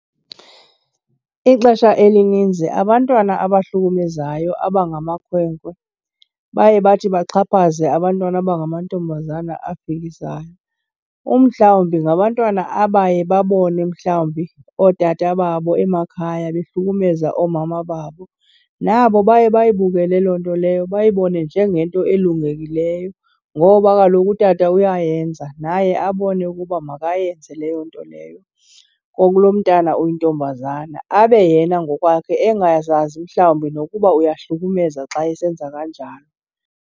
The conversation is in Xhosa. Ixesha elininzi abantwana abahlukumezayo abangamakhwenkwe baye bathi baxhaphaze abantwana abangamantombazana afikisayo umhlawumbi ngabantwana abaye babone mhlawumbi ootata babo emakhaya behlukumezeka oomama babo. Nabo baye bayibukele loo nto leyo bayibone njengento elungekileyo ngoba kaloku utata uyayenza, naye abone ukuba makayenze leyo nto leyo kulo mntana uyintombazana. Abe yena ngokwakhe engazazi mhlawumbi nokuba uyahlukumezeka xa esenza kanjalo.